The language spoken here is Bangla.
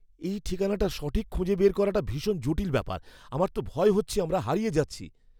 এই ঠিকানাটা সঠিক খুঁজে বের করাটা ভীষণ জটিল ব্যাপার। আমার তো ভয় হচ্ছে আমরা হারিয়ে যাচ্ছি।